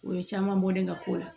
O ye caman bɔlen ka ko la